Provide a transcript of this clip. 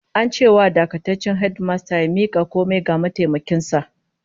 An ce wa dakataccen hedimastan ya mika komai ga mataimakin sa